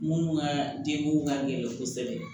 Munnu ka denko ka gɛlɛn kosɛbɛ